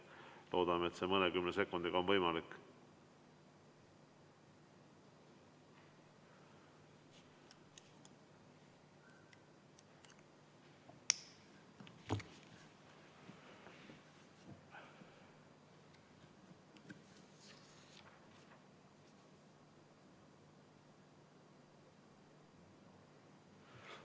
Loodame, et see mõnekümne sekundiga on võimalik.